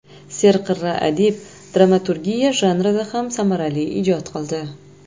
Serqirra adib dramaturgiya janrida ham samarali ijod qildi.